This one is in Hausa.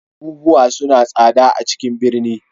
Abubuwa suna da tsada a ciƙn ɓirni.